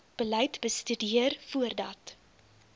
beleid bestudeer voordat